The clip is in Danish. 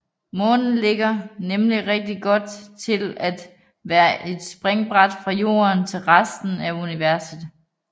Månen ligger nemlig rigtig godt til at være springbræt for Jorden til resten af universet